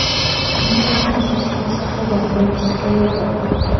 Nima uchun Toshkent shahriga propiska yopiq?